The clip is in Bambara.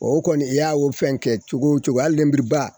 O kɔni i y'a o fɛn kɛ cogo o cogo hali lenburuba